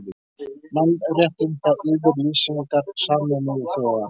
Mannréttindayfirlýsingar Sameinuðu þjóðanna.